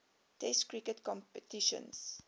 test cricket competitions